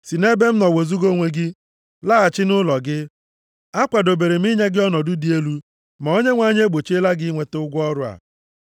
Si nʼebe m nọ wezuga onwe gị! Laghachi nʼụlọ gị! Akwadobere m inye gị ọnọdụ dị elu, ma Onyenwe anyị e gbochiela gị inweta ụgwọ ọrụ a.”